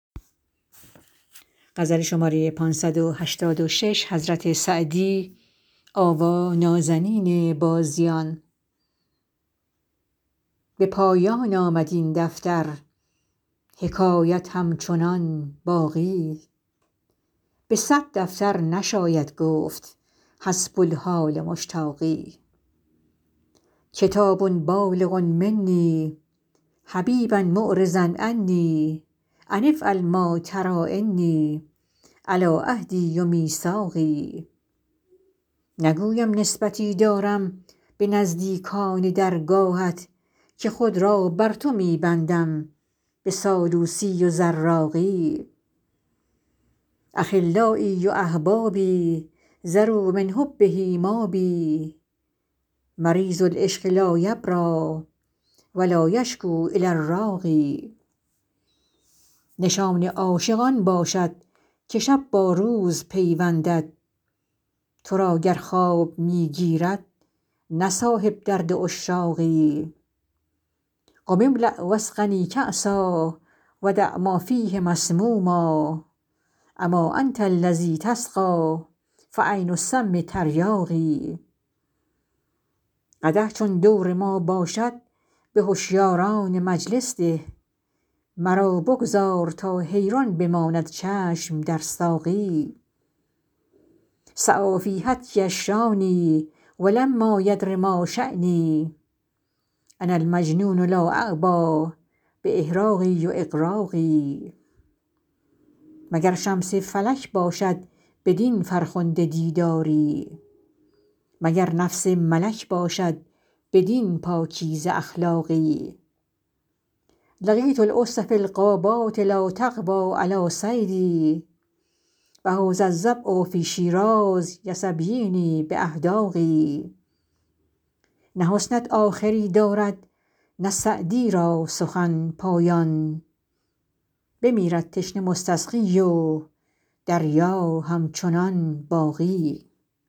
به پایان آمد این دفتر حکایت همچنان باقی به صد دفتر نشاید گفت حسب الحال مشتاقی کتاب بالغ منی حبیبا معرضا عنی أن افعل ما تری إني علی عهدی و میثاقی نگویم نسبتی دارم به نزدیکان درگاهت که خود را بر تو می بندم به سالوسی و زراقی أخلایی و أحبابی ذروا من حبه مابی مریض العشق لا یبری و لا یشکو إلی الراقی نشان عاشق آن باشد که شب با روز پیوندد تو را گر خواب می گیرد نه صاحب درد عشاقی قم املأ و اسقنی کأسا و دع ما فیه مسموما أما أنت الذی تسقی فعین السم تریاقی قدح چون دور ما باشد به هشیاران مجلس ده مرا بگذار تا حیران بماند چشم در ساقی سعی فی هتکی الشانی و لما یدر ما شانی أنا المجنون لا أعبا بإحراق و إغراق مگر شمس فلک باشد بدین فرخنده دیداری مگر نفس ملک باشد بدین پاکیزه اخلاقی لقیت الأسد فی الغابات لا تقوی علی صیدی و هذا الظبی فی شیراز یسبینی بأحداق نه حسنت آخری دارد نه سعدی را سخن پایان بمیرد تشنه مستسقی و دریا همچنان باقی